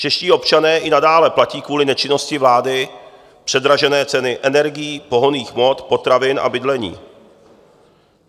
Čeští občané i nadále platí kvůli nečinnosti vlády předražené ceny energií, pohonných hmot, potravin a bydlení.